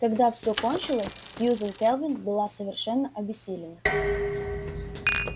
когда всё кончилось сьюзен кэлвин была совершенно обессилена